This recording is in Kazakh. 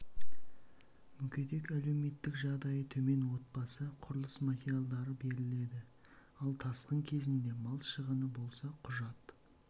мүгедек әлеуметтік жағдайы төмен отбасы құрылыс материалдары беріледі ал тасқын кезінде мал шығыны болса құжат